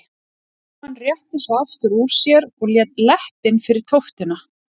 Jóhann rétti svo aftur úr sér og lét leppinn fyrir tóftina.